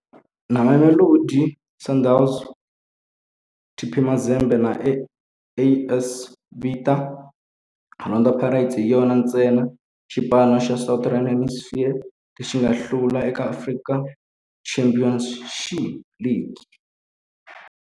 Na Mamelodi Sundowns, TP Mazembe na AS Vita, Orlando Pirates hi yona ntsena xipano xa Southern Hemisphere lexi nga hlula eka African Champions League.